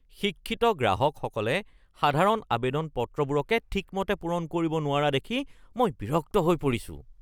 শিক্ষিত গ্ৰাহকসকলে সাধাৰণ আৱেদন পত্ৰবোৰকে ঠিকমতে পূৰণ কৰিব নোৱাৰা দেখি মই বিৰক্ত হৈ পৰিছোঁ। (গেছ এজেন্সীৰ ৰিপ্ৰেজেণ্টেটিভ)